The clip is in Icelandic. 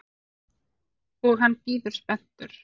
Og hann bíður spenntur.